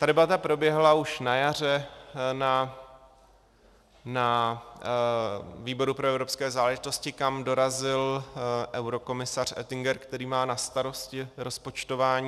Ta debata proběhla už na jaře na výboru pro evropské záležitosti, kam dorazil eurokomisař Oettinger, který má na starosti rozpočtování.